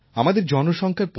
আমাদের জনসংখ্যার